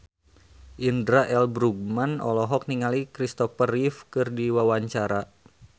Indra L. Bruggman olohok ningali Kristopher Reeve keur diwawancara